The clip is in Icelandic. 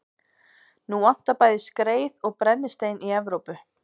Nú vantar bæði skreið og brennistein í Evrópu.